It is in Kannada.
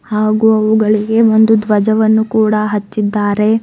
ಹಾಗೂ ಅವುಗಳಿಗೆ ಒಂದು ಧ್ವಜವನ್ನು ಕೂಡ ಹಚ್ಚಿದ್ದಾರೆ.